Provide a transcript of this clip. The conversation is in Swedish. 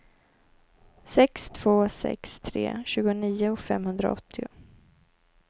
sex två sex tre tjugonio femhundraåttio